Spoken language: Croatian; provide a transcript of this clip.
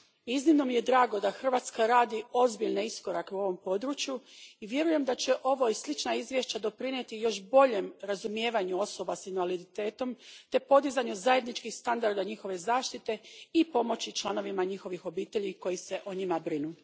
Iznimno mi je drago da Hrvatska radi ozbiljne iskorake u ovom području i vjerujem da će ovo i slična izvješća doprinijeti još boljem razumijevanju osoba s invaliditetom te podizanju zajedničkih standarda njihove zaštite i pomoći članovima njihovih obitelji koji se o njima brinu.